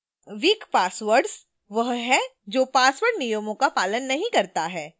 weak passwords वह है जो password नियमों का पालन नहीं करता है